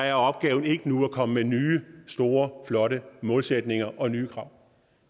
er opgaven ikke nu at komme med nye store flotte målsætninger og nye krav